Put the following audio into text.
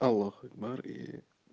аллах акбар и